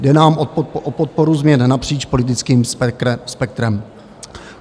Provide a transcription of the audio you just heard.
Jde nám o podporu změn napříč politickým spektrem.